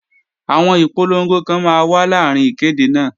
Àwọn ìpolongo kan máa wà láàrín ìkéde náà